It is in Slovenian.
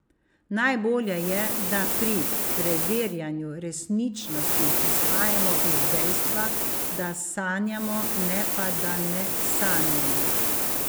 Najbolje je, da pri preverjanju resničnosti izhajamo iz dejstva, da sanjamo, ne pa da ne sanjamo.